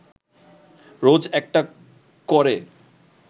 রোজ একটা ক’রে